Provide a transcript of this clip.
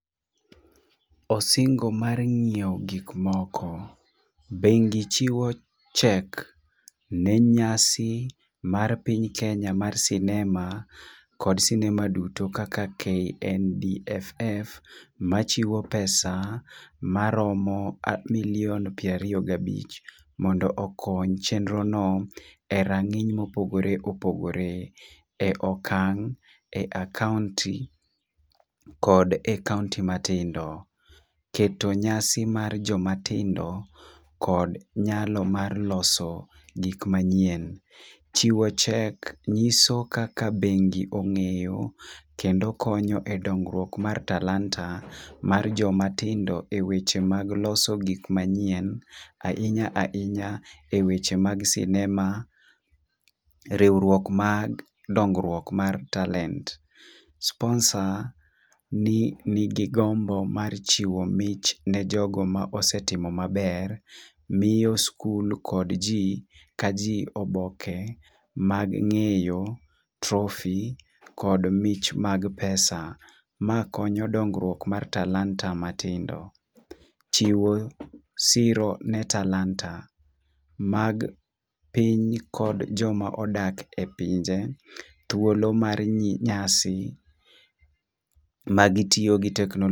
Osingo mar ng'iewo gik moko. Bengi chiwo cheque ne nyasi mar piny kenya mar sinema kod sinema duto kaka KNMDFF machiwo pesa maromo milion piero ariyo gabich mondo okony chenro no e rang'iny mopogore opogore. E okan e akaunti kod akaunti matindo. Keto nyasi mar joma tindo kod nyalo mar loso gik manyien chiwo chek nyiso kaka bengi ong'eyo kendo konyo dongruok mar talanta mar jomatindo eweche mag loso gik manyien ahinya ahinya e weche mag sinema, riwruok mag dongruok mag talent. Sponsor nigi gombo mar chiwo mich ne jogo mosetimo maber miyo skul kod jii ka jii oboke mag ng'eyo trophy kod mich mag pesa. Ma konyo dongruok dongo mag talanta matindo . Chiwo siro ne talanta mag piny kod joma odak e pinje thuolo mar nyasi magitiyo gi teknolojia